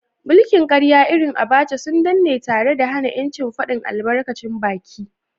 mulkin karya irin Abacha sun danne tare da hana ‘yancin fadin albarkacin baki.